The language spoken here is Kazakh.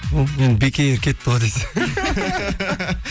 бек эйр кетті ғой десең